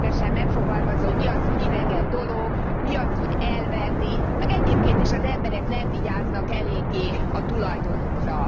is részletesen megfogalmazva, hogy mi az, hogy idegen dolog, mi az, hogy elvenni, meg egyébként is az emberek nem vigyáznak eléggé a tulajdonukra.